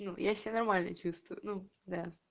ну я себя нормально чувствую ну да